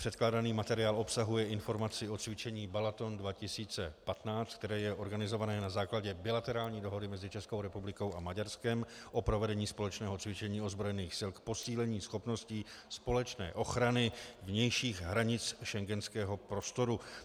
Předkládaný materiál obsahuje informaci o cvičení Balaton 2015, které je organizované na základě bilaterální dohody mezi Českou republikou a Maďarskem o provedení společného cvičení ozbrojených sil k posílení schopností společné ochrany vnějších hranic schengenského prostoru.